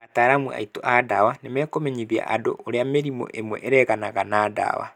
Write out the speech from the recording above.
Ataramu aitũ a dawa nĩ mekũmenyithia andũ ũrĩa mĩrimũ ĩmwe ĩregana na dawa.